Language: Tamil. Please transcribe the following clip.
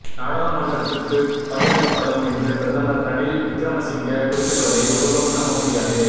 நாடாளுமன்றத்துக்கு பகிரங்கப்படும் என்று பிரதமர் ரணில் விக்ரமசிங்க குறிப்பிடுவதை ஒருபோதும் நம்ப முடியாது